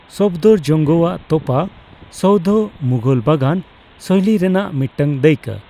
ᱥᱚᱯᱷᱫᱚᱨᱡᱚᱝᱜᱚ ᱟᱜ ᱛᱚᱯᱟ ᱥᱳᱣᱫᱷᱚ ᱢᱩᱜᱷᱚᱞ ᱵᱟᱜᱟᱱ ᱥᱳᱭᱞᱤ ᱨᱮᱱᱟᱜ ᱢᱤᱫᱴᱟᱝ ᱫᱟᱹᱭᱠᱟᱹ ᱾